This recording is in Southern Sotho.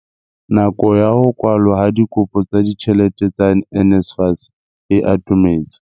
Nako ya ho kwalwa ha dikopo tsa ditjhelete tsa NSFAS e atometse.